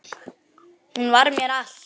Hún var mér allt.